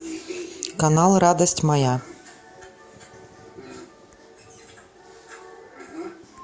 канал радость моя